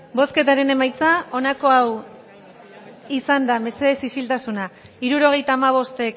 bozketaren emaitza onako izan da hirurogeita hamabost